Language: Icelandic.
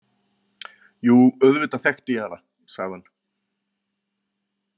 Jú, auðvitað þekkti ég hana, sagði hann.